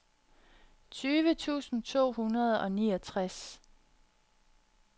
tyve tusind to hundrede og niogtres